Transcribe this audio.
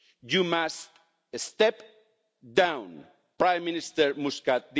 You must step down, Prime Minister Muscat.